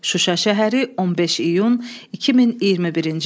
Şuşa şəhəri, 15 iyun 2021-ci il.